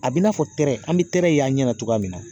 A b'i n'a fɔ tɛrɛ , an bɛ tɛrɛ y' an ɲɛna cogoya min na .